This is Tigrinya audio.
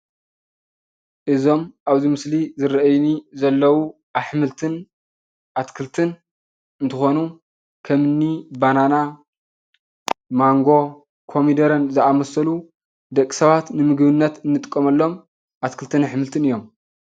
እዞም እብዚ ምስሊ ዝረአዩኒ ዘለው አሕምልትን አትክልትን እንትኮኑ ከም እኒ ባናና፣ ማንጎ፣ ኮሚደረን ዝአመሰሉ ደቂ ሰባት ንምግብነት እንጥቀመሎም አትክልትን አሕምልትን እዮም።